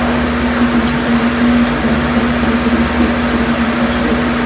Shavkat Mirziyoyevning Yashnoboddagi poliklinikaga kutilmagan tashrifi.